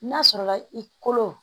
N'a sɔrɔla i kolo